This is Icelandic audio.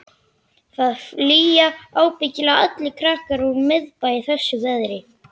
Það flýja ábyggilega allir krakkar úr miðbænum í þessu veðri.